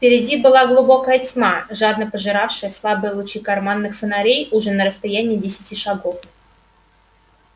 впереди была глубокая тьма жадно пожиравшая слабые лучи карманных фонарей уже на расстоянии десяти шагов